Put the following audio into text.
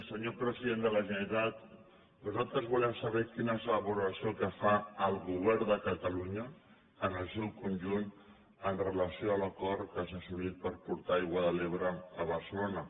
senyor president de la generalitat nosaltres volem saber quina és la valoració que fa el govern de catalunya en el seu conjunt amb relació a l’acord que s’ha assolit per portar aigua de l’ebre a barcelona